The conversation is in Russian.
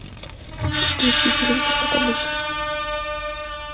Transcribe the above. включи телевизор как обычно